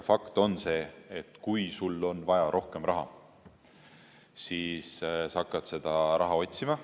Fakt on see, et kui on vaja rohkem raha, siis hakatakse seda raha otsima.